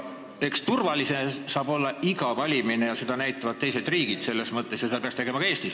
Eks turvaline saab olla iga valimine, seda näitab teiste riikide kogemus ja nii peaks olema ka Eestis.